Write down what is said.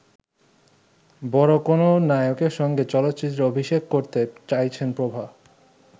বড় কোন নায়কের সঙ্গে চলচ্চিত্রে অভিষেক করতে চাইছেন প্রভা।